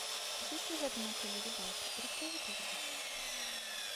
есть ли в этом отеле рыбалка расскажи пожалуйста